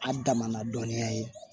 A daman dɔɔnin ya ye